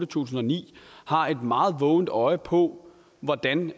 tusind og ni har et meget vågent øje på hvordan